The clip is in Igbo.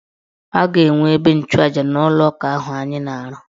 A ga-enwe ebe nchụja n' ụlọụka ahụ anyị na-arụ.